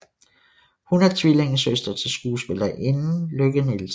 Hun er tvillingesøster til skuespillerinden Lykke Nielsen